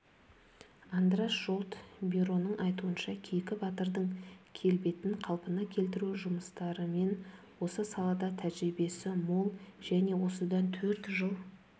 андраш жолт бироның айтуынша кейкі батырдың келбетінқалпына келтіру жұмыстарыменосы салада тәжірибесі мол және осыдан төрт жыл